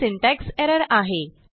ही syntax error आहे